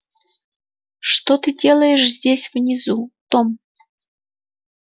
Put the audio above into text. что ты делаешь здесь внизу том